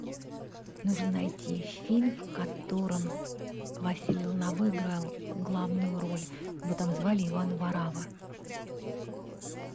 нужно найти фильм в котором василий лановой играл главную роль его там звали иван варавва